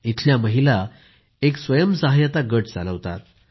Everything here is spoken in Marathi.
इथल्या महिला एक स्वमदत समूह चालवतात